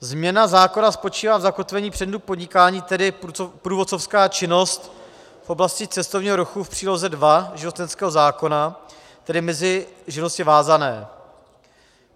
Změna zákona spočívá v zakotvení předmětu podnikání, tedy průvodcovská činnost v oblasti cestovního ruchu v příloze 2 živnostenského zákona, tedy mezi živnosti vázané.